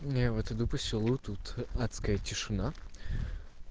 я вот иду по селу тут адская тишина